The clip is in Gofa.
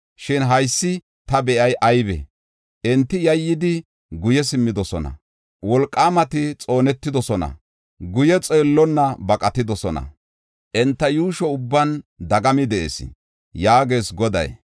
“Shin haysi ta be7ey aybee? enti yayyidi guye simmidosona. Wolqaamati xoonetidosona; guye xeellonna baqatidosona; Enta yuusho ubban dagami de7ees” yaagees Goday.